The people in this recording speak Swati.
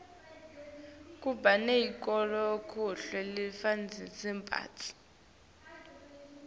kuba neyekuklomelisa bafundzi